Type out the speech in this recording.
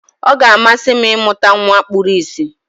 Ọ ga-amasị m ịmụta nwa kpuru ìsì.